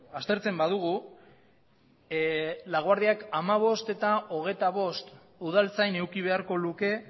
aztertzen badugu laguardiak hamabost eta hogeita bost udaltzain eduki beharko luke